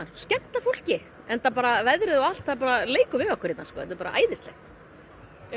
skemmta fólki veðrið leikur við okkur og þetta er æðislegt er